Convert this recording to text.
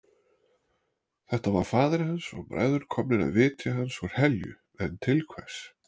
Þetta var faðir hans og bræður komnir að vitja hans úr helju en til hvers?